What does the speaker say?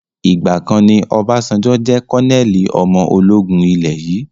Ìgbàkan ni Obasanjo jẹ́ kọnẹ́ẹ́lì ọmọ ológun ilé yìí